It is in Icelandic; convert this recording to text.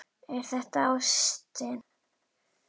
Er það ástin?